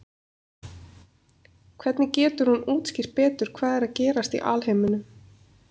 hvernig getur hún útskýrt betur hvað er að gerast í alheiminum